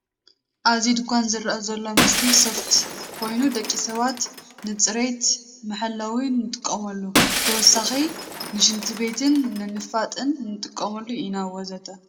ኣብዚ ድንኳን ዝርአ ዘሎ ምስሊ ሶፍት ኮይኑ ደቂ ሰባት ንፅርየት መሐለዊ ንጥቀመሉ። ብተወሳኺ ንሽንቲ ቤትን ንንፋጥን ንጥቀመሉ ኢና ወዘተ ።